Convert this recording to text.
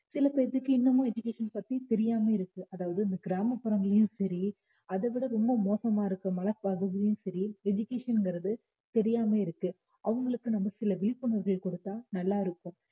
சில பேருக்கு இன்னமும் education பத்தி தெரியாம இருக்கு அதாவது கிராமப்புறங்கள்லயும் சரி அதைவிட ரொம்ப மோசமா இருக்கிற சரி education ங்றது தெரியாம இருக்கு அவங்களுக்கு நம்ம சில விழிப்புணர்வுகளை கொடுத்தா நல்லா இருக்கும்